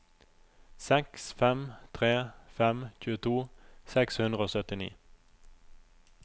seks fem tre fem tjueto seks hundre og syttini